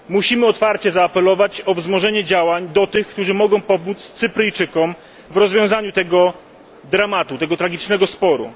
Musimy otwarcie zaapelować o wzmożenie działań do tych, którzy mogą pomóc Cypryjczykom w rozwiązaniu tego dramatu, tego tragicznego sporu.